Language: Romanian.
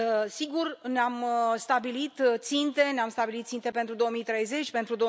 Sigur, ne am stabilit ținte, ne am stabilit ținte pentru 2030, pentru